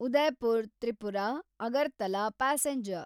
Udaipur Tripura-Agartala passenger